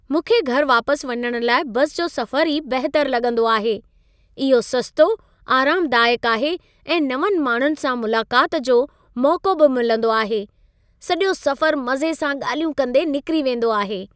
मूंखे घरि वापस वञण लाइ बसि जो सफ़रु ई बहितरु लॻंदो आहे। इहो सस्तो, आरामदायकु आहे ऐं नवंनि माण्हुनि सां मुलाक़ात जो मौक़ो बि मिलंदो आहे। सॼो सफ़रु मज़े सां ॻालल्हियूं कंदे निकिरी वेंदो आहे।